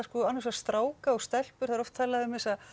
stráka og stelpur það er oft talað um þessa